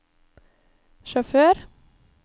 sjåfør